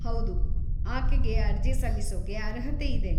ಹೌದು, ಆಕೆಗೆ ಅರ್ಜಿ ಸಲ್ಲಿಸೋಕೆ ಅರ್ಹತೆ ಇದೆ.